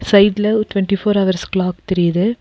சைடுல ஒரு twenty four hours clock தெரியுது.